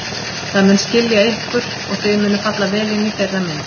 Það mun skilja ykkur og þið munuð falla vel inn í þeirra mynd.